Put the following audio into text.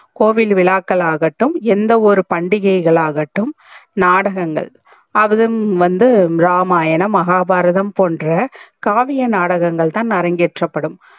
கோவில் விழாக்கல் ஆகட்டும் எந்த ஒரு பண்டிகைகல் ஆகட்டும் நாடகங்கள் அது வந்து இராமாயணம் மகாபாரதம் போன்ற காவிய நாடகங்கள் தா அரங்கேற்ற படும்